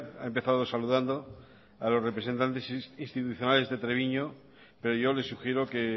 ha empezado saludando a los representantes institucionales de treviño pero yo le sugiero que